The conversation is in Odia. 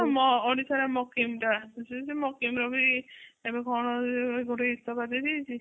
ଓଡିଶା ରେ ବି କଣ ଇସ୍ତଫା ଦେଇ ଦେଇଛି